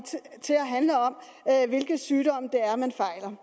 til at handle om hvilke sygdomme det er man